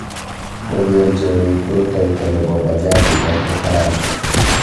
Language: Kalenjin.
Koger choriik rutoito nebo bajaji eng Ufaransa